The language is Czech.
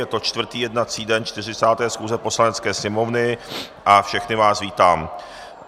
Je to čtvrtý jednací den 40. schůze Poslanecké sněmovny a všechny vás vítám.